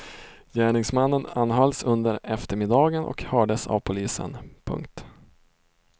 Gärningsmannen anhölls under eftermiddagen och hördes av polisen. punkt